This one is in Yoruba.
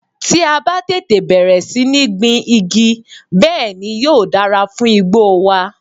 Tí a bá tètè bẹ̀rẹ̀ sí ní gbin igi, bẹ́ẹ̀ ni yóò dára fún igbó wa.